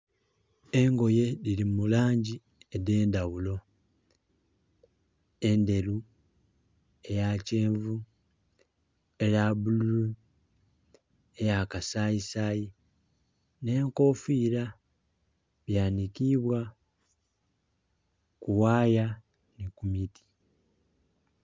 Engoye dhiri mu langi edendha ghulo endheru, eya kyenvu, eya bululu, eya kasayisayi ne nkofira byanikibwa ku ghaya ni ku miti.